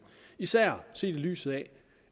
især set i lyset af